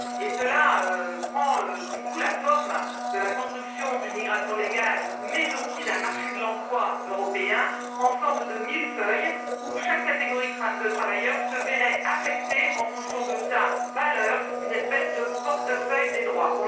Cela prend du coup la forme de la construction d'une migration légale mais aussi d'un marché de l'emploi européen en forme de millefeuille où chaque catégorie de travailleurs se verrait affecter, en fonction de sa valeur, une espèce de portefeuille des droits.